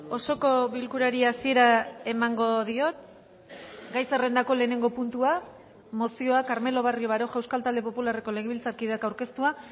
osoko bilkurari hasiera emango diot gai zerrendako lehenengo puntua mozioa carmelo barrio baroja euskal talde popularreko legebiltzarkideak aurkeztua